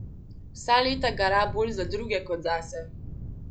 Vsa leta gara bolj za druge kot zase.